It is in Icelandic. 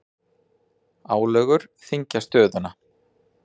Álögur þyngja stöðuna